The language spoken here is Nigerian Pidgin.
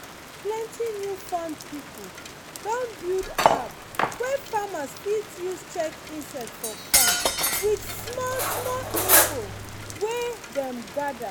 plenty new farm pipo don build app wey farmers fit use check insect for farm with small-small info wey dem gather